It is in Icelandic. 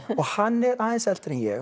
og hann er aðeins eldri ég